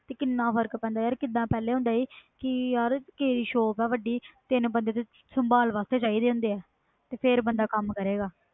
ਤੇ ਕਿੰਨਾ ਫਰਕ ਪੈਂਦਾ ਆ ਪਹਿਲੇ ਹੁੰਦਾ ਸੀ ਕਿ shop ਵ ਵੱਡੀ ਤਿੰਨ ਬੰਦੇ ਸਾਬਲ ਵਾਸਤੇ ਚਾਹੀਦੇ ਆ ਫਿਰ ਬੰਦਾ ਕਮ ਕਰੇਗਾ